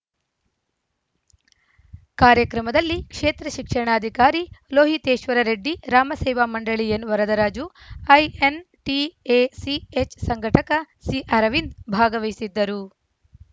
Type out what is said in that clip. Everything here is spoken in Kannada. ಕಾರ್ಯಕ್ರಮದಲ್ಲಿ ಕ್ಷೇತ್ರ ಶಿಕ್ಷಣಾಧಿಕಾರಿ ಲೋಹಿತೇಶ್ವರ ರೆಡ್ಡಿ ರಾಮಸೇವಾ ಮಂಡಳಿ ಎನ್‌ವರದರಾಜು ಐಎನ್‌ಟಿಎಸಿಎಚ್‌ ಸಂಘಟಕ ಸಿಅರವಿಂದ್‌ ಭಾಗವಹಿಸಿದ್ದರು